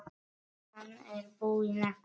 Hann er búinn að því.